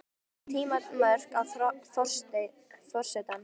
Þarf að setja tímamörk á forsetann?